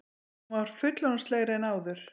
Hún var fullorðinslegri en áður.